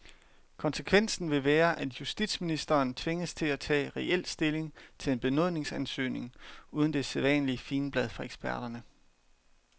Konsekvensen vil være, at justitsministeren tvinges til at tage reel stilling til en benådningsansøgning uden det sædvanlige figenblad fra eksperterne.